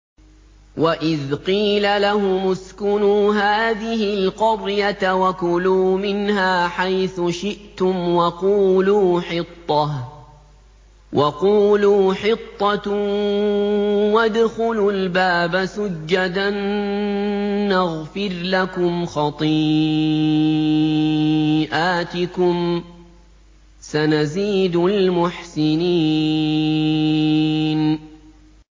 وَإِذْ قِيلَ لَهُمُ اسْكُنُوا هَٰذِهِ الْقَرْيَةَ وَكُلُوا مِنْهَا حَيْثُ شِئْتُمْ وَقُولُوا حِطَّةٌ وَادْخُلُوا الْبَابَ سُجَّدًا نَّغْفِرْ لَكُمْ خَطِيئَاتِكُمْ ۚ سَنَزِيدُ الْمُحْسِنِينَ